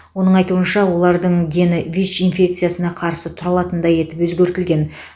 оның айтуынша олардың гені вич инфекциясына қарсы тұра алатындай етіп өзгертілген